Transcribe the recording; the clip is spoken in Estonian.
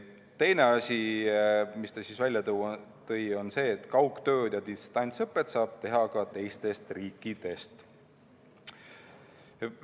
Teine asi, mis ta välja tõi, oli see, et kaugtööd ja distantsõpet saab teha ka teistest riikidest.